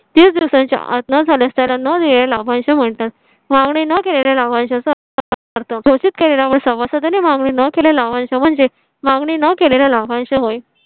तीस दिवसांच्या आत न झाल्यास त्याला म्हणतात मागणी न केलेला घोषित केलेला पण सभासदाने मागणी न केलेला वंश म्हणजे मागणी न केलेला वंश होय